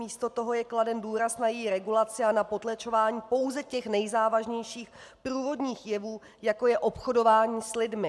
Místo toho je kladen důraz na její regulaci a na potlačování pouze těch nejzávažnějších průvodních jevů, jako je obchodování s lidmi.